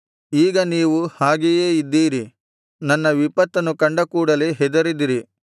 ಈಗ ನೀವು ಹಾಗೆಯೇ ಇದ್ದೀರಿ ನನ್ನ ವಿಪತ್ತನ್ನು ಕಂಡ ಕೂಡಲೆ ಹೆದರಿದಿರಿ